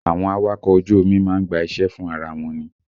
Àwọn awakọ̀ ojú omi má ń gba iṣẹ́ fún ara wọn ni